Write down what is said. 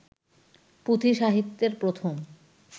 পুঁথি সাহিত্যের প্রথম